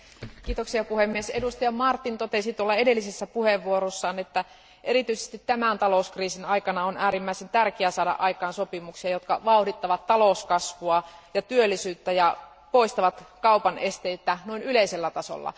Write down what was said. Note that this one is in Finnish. Arvoisa puhemies, edustaja Martin totesi edellisessä puheenvuorossaan, että erityisesti tämän talouskriisin aikana on äärimmäisen tärkeää saada aikaan sopimuksia, jotka vauhdittavat talouskasvua ja työllisyyttä ja poistavat kaupan esteitä yleisellä tasolla.